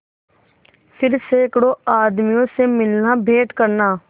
फिर सैकड़ों आदमियों से मिलनाभेंट करना